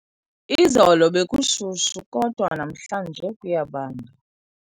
Izolo bekushushu kodwa namhlanje kuyabanda.